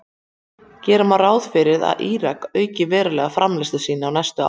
Gera má ráð fyrir að Írakar auki verulega framleiðslu sína á næstu árum.